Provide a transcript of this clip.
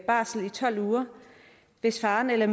barsel i tolv uger hvis faren eller